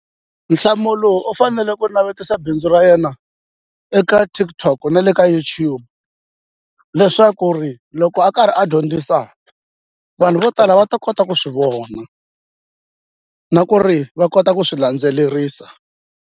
Nhlamulo u fanele ku navetisa bindzu ra yena eka TikTok na le ka YouTube leswaku ri loko a karhi a dyondzisa vanhu vo tala va ta kota ku swi vona na ku ri va kota ku swi landzelerisa.